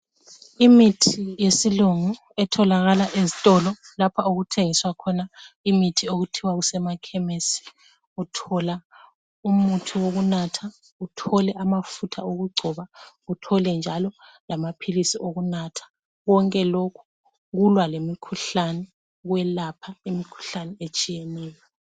Imithi yesilungu etholakala ezitolo lapha okuthengiswa khona imithi okuthiwa kusemakhemesi. Uthola umuthi wokunatha uthole amafutha okugcoba uthole njalo lamaphilisi okunatha. Konke lokhu kulwa lemikhuhlane kwelapha imikhuhlane etshiyeneyo.